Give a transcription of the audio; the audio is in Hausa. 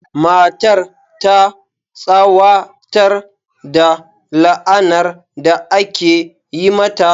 Matar ta tsawatar da la'anar da aka yi mata.